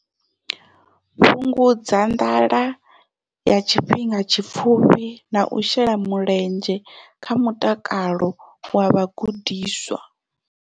Fhungudza nḓala ya tshifhinga tshipfufhi na u shela mulenzhe kha mutakalo wa vhagudiswa.